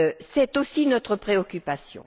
C'est aussi notre préoccupation.